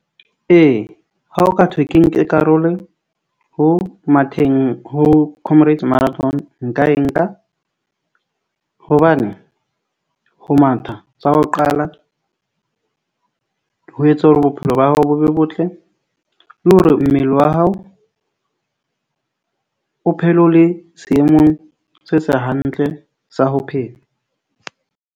Ee, ha o ka thwe ke nke karolo ho matheng ho Comrades Marathon, nka e nka hobane ho matha tsa ho qala ho etsa hore bophelo ba hao bo botle le hore mmele wa hao o phele o le seemong se se hantle sa ho phela.